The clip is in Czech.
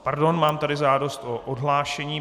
Pardon, mám tady žádost o odhlášení.